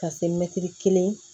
Ka se kelen